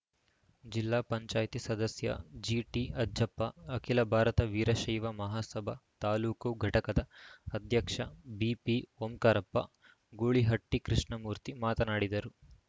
ಜಿಲ್ಲಾ ಪಂಚಾಯಿತಿ ಸದಸ್ಯ ಜಿಟಿಅಜ್ಜಪ್ಪ ಅಖಿಲ ಭಾರತ ವೀರಶೈವ ಮಹಾಸಭಾ ತಾಲೂಕು ಘಟಕದ ಅಧ್ಯಕ್ಷ ಬಿಪಿಓಂಕಾರಪ್ಪ ಗೂಳಿಹಟ್ಟಿಕೃಷ್ಣಮೂರ್ತಿ ಮಾತನಾಡಿದರು